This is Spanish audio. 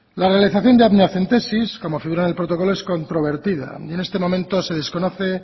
la realización de la amniocentesis como figura en el protocolo es controvertida y en este momento se desconoce